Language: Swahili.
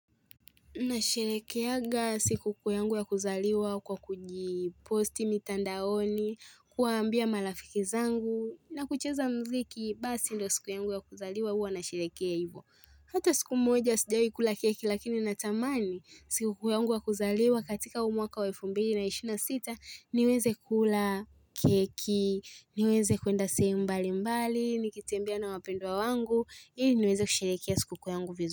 Na sherekeaga siku kuuyangu ya kuzaliwa kwa kujiposti mitandaoni, kuambia malafiki zangu na kucheza mziki basi ndo siku yangu ya kuzaliwa huwa na sherekea hivyo. Hata siku moja sijawah ikula keki lakini na tamani siku kuyangu ya kuzaliwa katika huumwaka waelfumbiri na ishirini na sita niweze kula keki, niweze kuenda sehemu mbali mbali, nikitembea na wapendwa wangu, ili niweze kusheherekea siku kuuyangu vizuri.